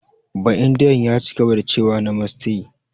Ba'indiyan ya cigaba da cewa "Namaste"